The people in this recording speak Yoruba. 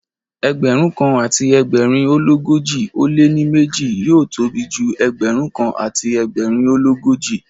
Ẹgbẹ̀rún kan àti ẹgbẹ̀rin ó l'ógójì ó lé ní méjì yóò tóbi ju Ẹgbẹ̀rún kan àti ẹgbẹ̀rin ó l'ógójì.